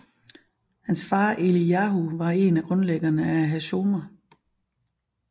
Hans far Eliyahu var en af grundlæggerne af Hashomer